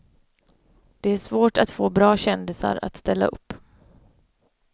Det är svårt att få bra kändisar att ställa upp.